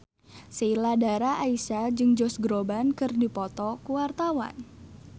Sheila Dara Aisha jeung Josh Groban keur dipoto ku wartawan